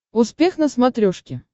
успех на смотрешке